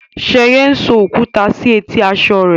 Sheye ń so okuta si eti aṣọ rẹ.